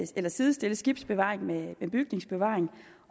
sidestille skibsbevaring med bygningsbevaring